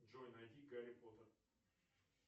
джой найди гарри поттер